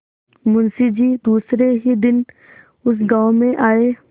मुँशी जी दूसरे ही दिन उस गॉँव में आये